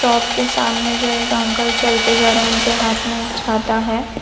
Shop के सामने जो एक अंकल चल के जा रहे उनके हाथ में एक छाता है।